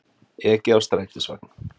Ekið á strætisvagn